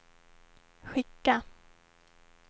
skicka